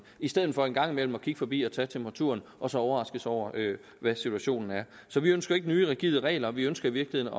i stedet for en gang imellem at kigge forbi og tage temperaturen og så overraskes over hvad situationen er så vi ønsker ikke nye rigide regler vi ønsker i virkeligheden